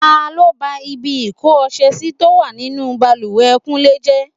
Ta ló ba ibi ìko ọṣẹ sì tó wà nínú bàlùwẹ̀ kúnlé jẹ́?